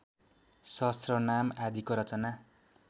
सहस्रनाम आदिको रचना